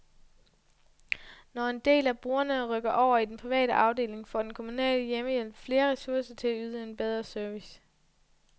Når en del af brugerne rykker over i den private afdeling, får den kommunale hjemmehjælp flere ressourcer til at yde en bedre service.